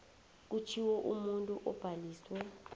kushiwo umuntu obhaliswe